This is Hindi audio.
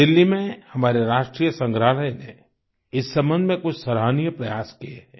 दिल्ली में हमारे राष्ट्रीय संग्रहालय ने इस सम्बन्ध में कुछ सराहनीय प्रयास किये हैं